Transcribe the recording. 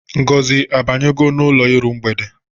Ngozi abanyego n'ụlọ iru mgbede?